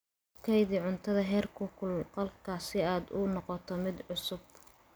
Ku kaydi cuntada heerkulka qolka si aad u noqoto mid cusub.